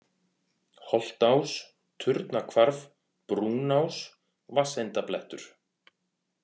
Holtás, Turnahvarf, Brúnás, Vatsendablettur